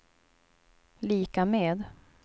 lika med